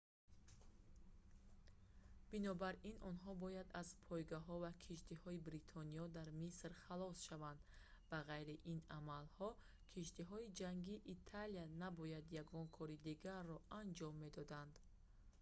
бинобар ин онҳо бояд аз пойгоҳҳо ва киштиҳои бритониё дар миср халос шаванд ба ғайри ин амалҳо киштиҳои ҷангии италия набояд ягон кори дигарро анҷом медоданд